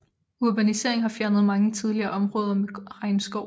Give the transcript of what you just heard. Urbanisering har fjernet mange tidligere områder med regnskov